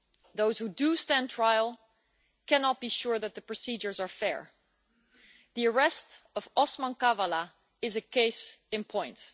Those who do stand trial cannot be sure that the procedures are fair. The arrest of Osman Kavala is a case in point.